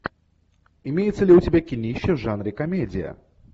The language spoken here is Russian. имеется ли у тебя кинище в жанре комедия